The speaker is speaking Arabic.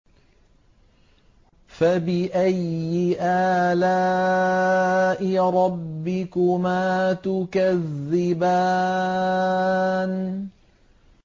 فَبِأَيِّ آلَاءِ رَبِّكُمَا تُكَذِّبَانِ